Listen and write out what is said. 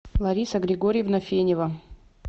лариса григорьевна фенева